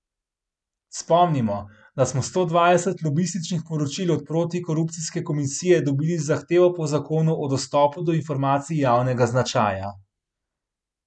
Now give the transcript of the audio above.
Spomnimo, da smo sto dvajset lobističnih poročil od protikorupcijske komisije dobili z zahtevo po zakonu o dostopu do informacij javnega značaja.